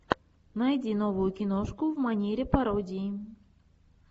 найди новую киношку в манере пародии